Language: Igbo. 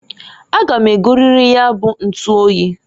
A ga m egoririri nya bu ntuoyi.